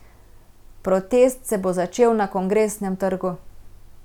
Protest se bo začel na Kongresnem trgu.